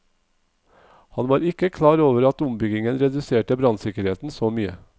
Han var ikke klar over at ombyggingen reduserte brannsikkerheten så mye.